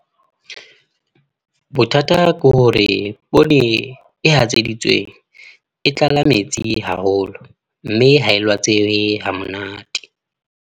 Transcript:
Bothata ke hore poone e hatseditsweng, e tlala metsi haholo. Mme ha e lwatseye ha monate.